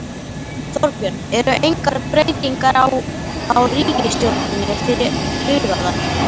Þorbjörn: Eru engar breytingar á, á ríkisstjórninni fyrir hugaðar?